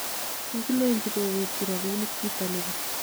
kikilenchi kowekyi robinik chito nibo